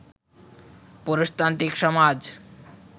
পুরুষতান্ত্রিক সমাজ